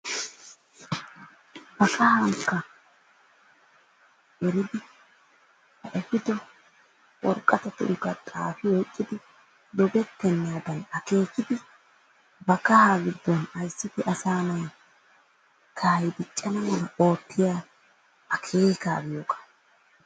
ba kahankka eridi kooshikko worqqatatunkka xaafi oyqqidi doogettenaadan akeekidi ba kahaa giidon issippe asaa na'ay kaahay diiccana mala oottiyaa akeekaa giyoogaa.